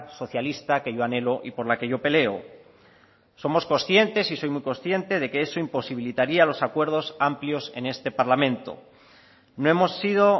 socialista que yo anhelo y por la que yo peleo somos conscientes y soy muy consciente de que eso imposibilitaría los acuerdos amplios en este parlamento no hemos sido